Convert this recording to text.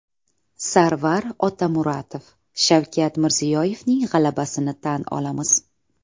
Sarvar Otamuratov: Shavkat Mirziyoyevning g‘alabasini tan olamiz.